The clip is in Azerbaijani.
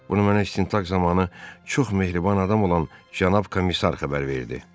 Bunu mənə istintaq zamanı çox mehriban adam olan cənab komissar xəbər verdi.